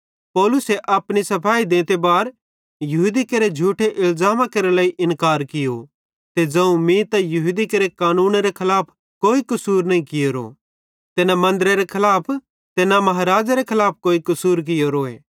पौलुसे अपनी सफाई देंते बार यहूदी केरे झूठे इलज़ामा केरे लेइ इन्कार कियो ते ज़ोवं मीं त यहूदी केरे कानूनेरे खलाफ कोई कसूर नईं कियोरो ते न मन्दरेरे खलाफ ते न महाराज़ेरे खलाफ कोई कसूर कियोरोए